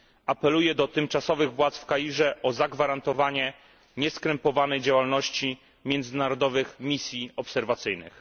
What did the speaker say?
Apeluję do tymczasowych władz w Kairze o zagwarantowanie nieskrępowanej działalności międzynarodowych misji obserwacyjnych.